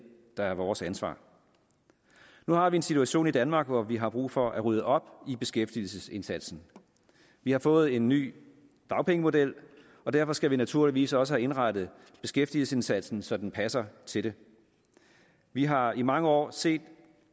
der er vores ansvar nu har vi en situation i danmark hvor vi har brug for at rydde op i beskæftigelsesindsatsen vi har fået en ny dagpengemodel og derfor skal vi naturligvis også have indrettet beskæftigelsesindsatsen så den passer til det vi har i mange år set